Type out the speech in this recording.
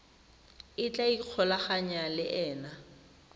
a tla ikgolaganyang le ena